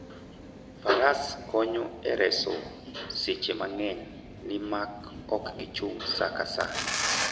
Faras konyo e reso seche mang'eny, nimar ok gichak gichung' sa ka sa.